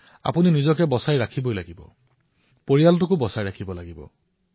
আপুনি নিজকে ৰক্ষা কৰিব লাগিব নিজৰ পৰিয়ালক ৰক্ষা কৰিব লাগিব